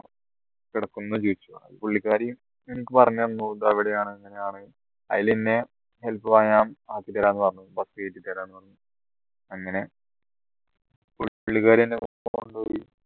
ചോദിച്ചു അപ്പൊ പുള്ളിക്കാരി എനിക്ക് പറഞ്ഞു തന്നു ദാ ഇവിടെയാണ് അങ്ങനെയാണ് ആയിലെന്നെ ആക്കി തരാന്ന് പറഞ്ഞു bus കേറ്റി തരാ പറഞ്ഞു അങ്ങനെ